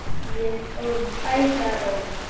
Við fórum bæði að róla.